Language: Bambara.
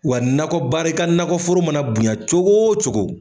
Wa nakɔ baara i ka nakɔ foro mana bonya cogo o cogo